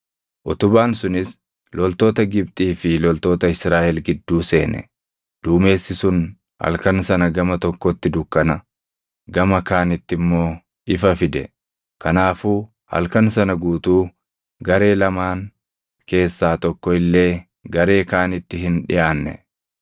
utubaan sunis loltoota Gibxii fi loltoota Israaʼel gidduu seene. Duumessi sun halkan sana gama tokkotti dukkana, gama kaanitti immoo ifa fide; kanaafuu halkan sana guutuu garee lamaan keessaa tokko illee garee kaanitti hin dhiʼaanne.